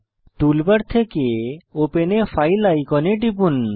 toolbar থেকে open a file আইকনে টিপুন